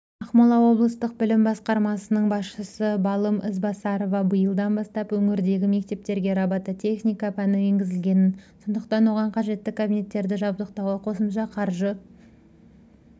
ақмола облыстық білім басқармасының басшысы балым ізбасарова биылдан бастап өңірдегі мектептерге робототехника пәні енгізілгенін сондықтан оған қажетті кабинеттерді жабдықтауға қосымша қаржы